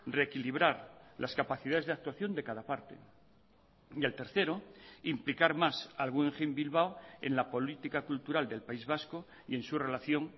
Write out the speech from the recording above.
reequilibrar las capacidades de actuación de cada parte y el tercero implicar más al guggenheim bilbao en la política cultural del país vasco y en su relación